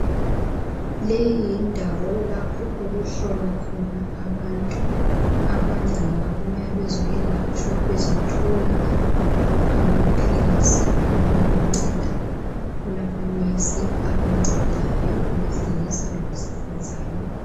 Leyi yindawo yalapho okuhlolwa khona abantu. Abanye ngababuya bezoyelatshwa bezothola amaphilisi abancedayo. Kulamanesi abancedayo owesilisa lowesifazana.